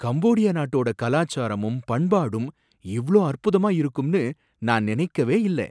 Cambodia நாட்டோட கலாச்சாரமும் பண்பாடும் இவ்ளோ அற்புதமா இருக்கும்னு நான் நினைக்கவே இல்ல!